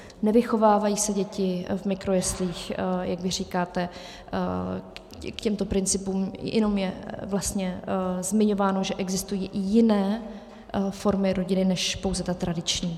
Nevychovávají se děti v mikrojeslích, jak vy říkáte, k těmto principům, jenom je vlastně zmiňováno, že existují i jiné formy rodiny než pouze ta tradiční.